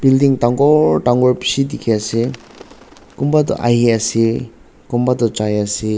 building dangor dangor bishi dikhiase kunba toh ahiase kunba toh jaiase.